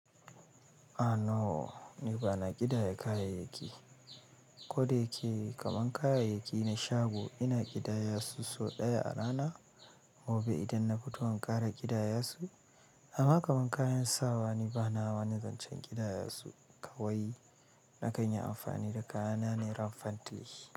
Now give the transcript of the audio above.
A noo, ni ba na ƙidaya kayayyaki. Ko da yake kaman kayayyaki na shago ina ƙidaya su so ɗaya a rana. Mobe idan na fito in ƙara ƙidaya su. Ama kaman kayan sawa ni ba na wani zancan ƙidaya su. Kawai na kanyi amfani da kayana ne raffantli.